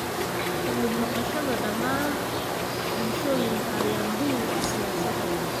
Ka mid noqoshada dhammaan bulshooyinka ayaa muhiim u ah siyaasadda.